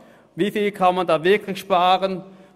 Wie viel kann man hier wirklich sparen?